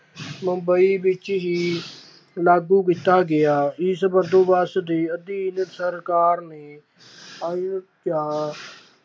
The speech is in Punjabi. ਮੁੰਬਈ ਵਿੱਚ ਹੀ ਲਾਗੂ ਕੀਤਾ ਗਿਆ, ਇਸ ਬੰਦੋਬਸਤ ਦੇ ਅਧੀਨ ਸਰਕਾਰ ਨੇ